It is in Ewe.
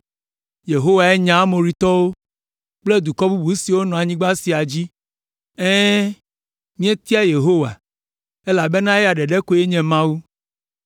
Yehowae nya Amoritɔwo kple dukɔ bubu siwo nɔ anyigba sia dzi. Ɛ̃, míetia Yehowa, elabena eya ɖeka koe nye Mawu.”